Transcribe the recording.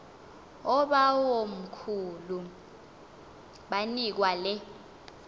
oobawomkhulu banikwa le